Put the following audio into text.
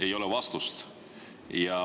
Ei ole vastust.